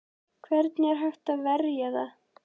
Hvernig er hægt að verja það?